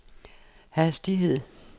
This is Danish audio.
hastighed